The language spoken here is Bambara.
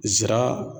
Nsira